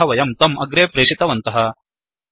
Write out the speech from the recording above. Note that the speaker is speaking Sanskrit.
यतः वयं तम् अग्रे प्रेशितवन्तः